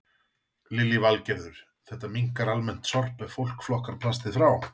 Lillý Valgerður: Þetta minnkar almennt sorp ef fólk flokkar plastið frá?